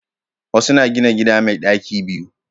Wasu na gina gida mai daki biyu